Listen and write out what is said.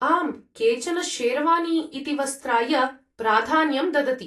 आम्, केचन शेरवानी इति वस्त्राय प्राधान्यं ददति।